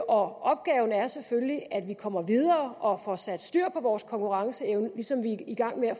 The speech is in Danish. og opgaven er selvfølgelig at vi kommer videre og får sat styr på vores konkurrenceevne ligesom vi er i gang med at